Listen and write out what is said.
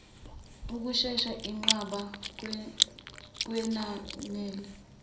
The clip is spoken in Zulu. ushesha inqaba kwenanela